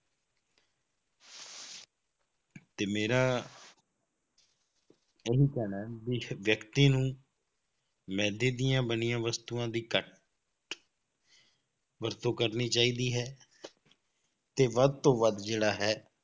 ਤੇ ਮੇਰਾ ਇਹੀ ਕਹਿਣਾ ਹੈ ਵੀ ਵਿਅਕਤੀ ਨੂੰ ਮਿਹਦੇ ਦੀਆਂ ਬਣੀਆਂ ਵਸਤੂਆਂ ਦੀ ਘੱਟ ਵਰਤੋਂ ਕਰਨੀ ਚਾਹੀਦੀ ਹੈ ਤੇ ਵੱਧ ਤੋਂ ਵੱਧ ਜਿਹੜਾ ਹੈ,